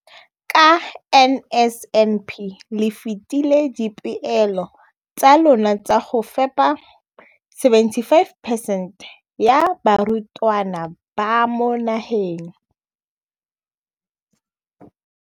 Ka NSNP le fetile dipeelo tsa lona tsa go fepa masome a supa le botlhano a diperesente ya barutwana ba mo nageng.